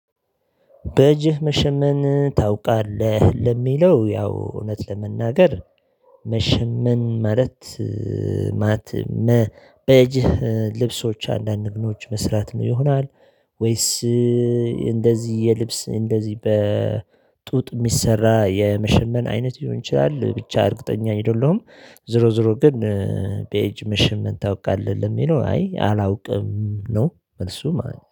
በእጅህ መሸመን ታውቃለህ ለሚለው ያው እውነት ለመናገር። መሸመን ማለት። መ በእጅህ ልብሶች አንዳንድ ምኖች መስራትም ይሆናል ወይስ? እንደዚህ የልብስ እንደዚህ በጡጥ የሚሰራ የመሸመን አይነት ሊሆን ይችላል ብቻ እርግጠኛ አይደለሁም። ዞሮ ዞሮ ግን። በእጅ መሸመን ታውቃለህ ለሚለው አይ አላውቅም ነው መልሱ ማለት ነው